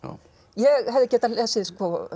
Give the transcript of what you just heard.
ég hefði getað lesið